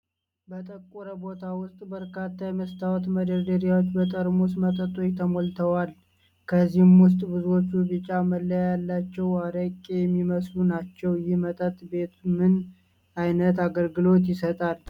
በጠቆረ ቦታ ውስጥ በርካታ የመስታወት መደርደሪያዎች በጠርሙስ መጠጦች ተሞልተዋል። ከእነዚህ ውስጥ ብዙዎቹ ቢጫ መለያ ያላቸው አሬቄ የሚመስሉ ናቸው። ይህ መጠጥ ቤት ምን ዓይነት አገልግሎት ይሰጣል?